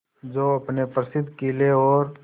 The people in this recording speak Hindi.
जो अपने प्रसिद्ध किले और